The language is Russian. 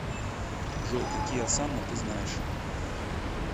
джой какие осанна ты знаешь